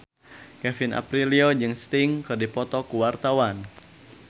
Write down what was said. Kevin Aprilio jeung Sting keur dipoto ku wartawan